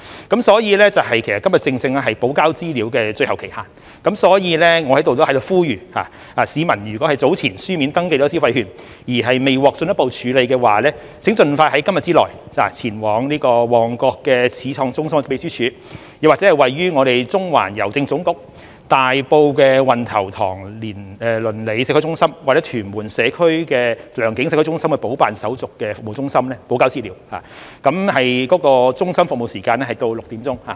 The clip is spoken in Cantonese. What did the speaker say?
今天正是補交資料的最後期限，所以我在此呼籲，市民如果已在早前以書面登記申請消費券而未獲進一步處理的話，請盡快在今天之內前往旺角始創中心的秘書處，又或是位於中環郵政總局、大埔運頭塘鄰里社區中心或屯門良景社區中心的補辦手續服務中心補交資料，而中心的服務時間至6時。